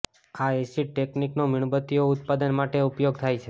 આ એસિડ ટેકનિકનો મીણબત્તીઓ ઉત્પાદન માટે ઉપયોગ થાય છે